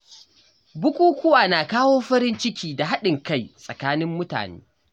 Bukukuwa na kawo farin ciki da haɗin kai tsakanin mutane.